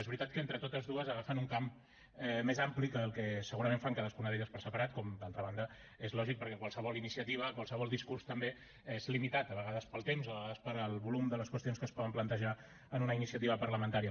és veritat que entre totes dues agafen un camp més ampli del que segurament fan cadascuna per separat com d’altra banda és lògic perquè qualsevol iniciativa qualsevol discurs també és limitat de vegades pel temps de vegades pel volum de les qüestions que es poden plantejar en una iniciativa parlamentària